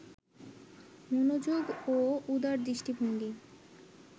মনোযোগ ও উদার দৃষ্টিভঙ্গি